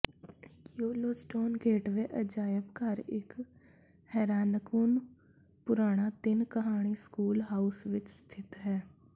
Yellowstone gateway ਅਜਾਇਬ ਘਰ ਇਕ ਹੈਰਾਨਕੁੰਨ ਪੁਰਾਣਾ ਤਿੰਨ ਕਹਾਣੀ ਸਕੂਲ ਹਾਊਸ ਵਿਚ ਸਥਿਤ ਹੈ